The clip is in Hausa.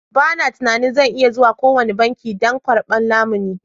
Ba na tunanin zan iya zuwa kowane banki don karɓan lamuni.